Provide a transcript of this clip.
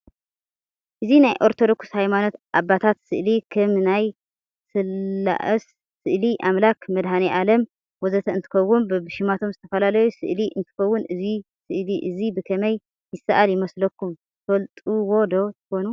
እዚ ናይ ኣርቶዶክስ ሃይማኖት ኣባታት ስእሊ ከም ናይ ስላኣሰ ስእሊ ኣምላክ መድህናዓለም ወዘተ እንትከውን በብሽማቶም ዝተፈላላዩ ስእሊ እንትከውን እዚ ስእሊእዚ ብከመይ ይሳኣል ይመስለኩም ትፈልጥዎዶ ትኮኑ?